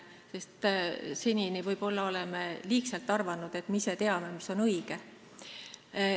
Senini oleme võib-olla liiga sageli arvanud, et me ise teame, mis on õige.